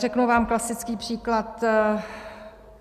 Řeknu vám klasický příklad.